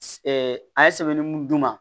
a ye sɛbɛnni mun d'u ma